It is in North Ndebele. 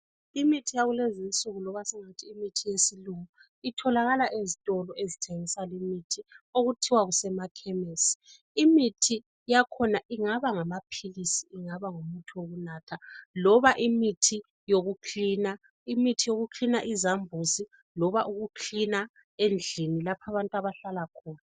Imithi yakulezinsuku loba singathi imithi yesilungu itholakala ezitoloz ezithengisa limithi okuthiwa kusemakhemisi . Imithi yakhona ingaba ngamaphilisi ingaba yimithi yokunatha loba imuthi yokucleaner izambuzi loba ukucleaner endlini lapho abantu abahlala khona.